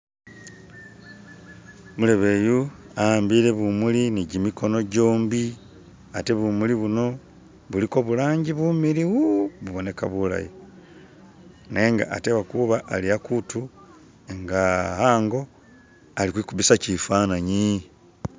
Umulebe eyu a'ambile bumuuli ni gimikono gyombi at bumuuli buno buliko bu langi bumiliyu buboneka bulaayi nenga atekwa kuuba ali akuutu nga ango ali kwikubisa kifananyi.